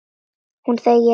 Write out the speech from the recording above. Hún þegir.